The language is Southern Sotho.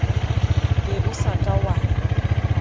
be o sa ka wa